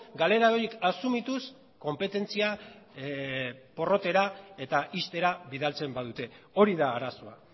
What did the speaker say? galera horiek asumituz konpetentzia porrotera eta ixtera bidaltzen badute hori da arazoa